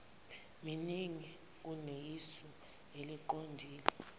miningi kuneyisu eliqondile